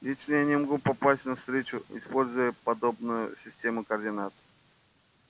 лично я не могу попасть на встречу используя подобную систему координат